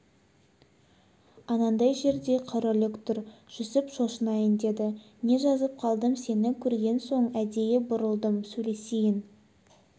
анандай жерде қараүлек тұр жүсіп шошынайын деді не жазып қалдым сені көрген соң әдейі бұрылдым сөйлесейін